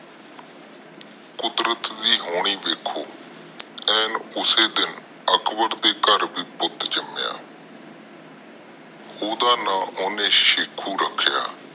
ਕੁਦਰਤ ਦੇ ਹੋਣੀ ਦੇਖੋ ਐਨ ਉਸੇ ਦਿਨ ਅਕਬਰ ਦੇ ਘਰ ਵੀ ਪੁੱਟ ਜੰਮਿਆ ਓਹਦਾ ਨਾਮ ਓਹਨੇ ਸਿਖੁ ਰਖਿਆ